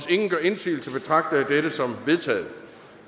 ingen gør indsigelse betragter jeg dette som vedtaget